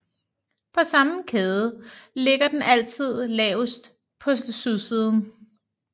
På samme kæde ligger den altid lavest på sydsiden